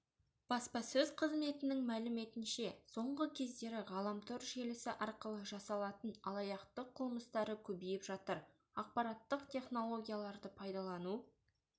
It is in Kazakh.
баспасөз қызметінің мәліметінше соңғы кездері ғаламтор желісі арқылы жасалатын алаяқтық қылмыстары көбейіп жатыр ақпараттық технологияларды пайдалану